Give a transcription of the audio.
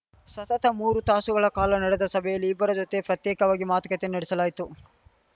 ಸತತ ಮೂರು ತಾಸುಗಳ ಕಾಲ ನಡೆದ ಸಭೆಯಲ್ಲಿ ಇಬ್ಬರ ಜೊತೆಯೂ ಪ್ರತ್ಯೇಕವಾಗಿ ಮಾತುಕತೆ ನಡೆಸಲಾಯಿತು